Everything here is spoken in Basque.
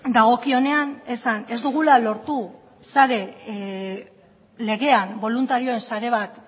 dagokionean esan ez dugula lortu legean boluntarioen sare bat